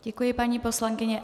Děkuji, paní poslankyně.